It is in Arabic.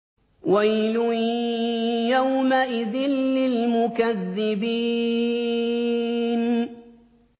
وَيْلٌ يَوْمَئِذٍ لِّلْمُكَذِّبِينَ